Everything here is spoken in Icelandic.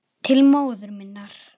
Til móður minnar.